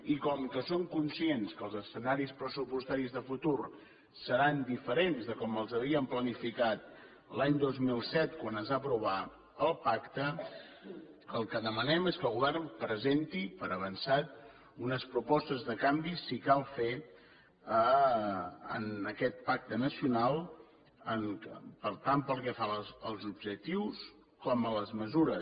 i com que som conscients que els escenaris pressupostaris de futur seran diferents de com els havíem planificat l’any dos mil set quan es va aprovar el pacte el que demanem és que el govern presenti per avançat unes propostes de canvi si cal fer les en aquest pacte nacional tant pel que fa als objectius com a les mesures